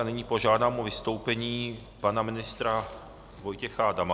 A nyní požádám o vystoupení pana ministra Vojtěcha Adama.